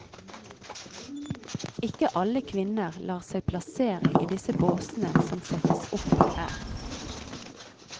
Ikke alle kvinner lar seg plassere i disse båsene som settes opp her.